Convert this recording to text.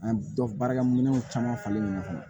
An dɔ baarakɛminɛnw caman falen ɲɔgɔnna